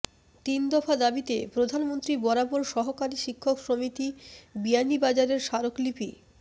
তিন দফা দাবীতে প্রধানমন্ত্রী বরাবর সহকারী শিক্ষক সমিতি বিয়ানীবাজারের স্মারকলিপি